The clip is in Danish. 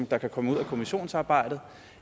der kan komme ud af kommissionsarbejdet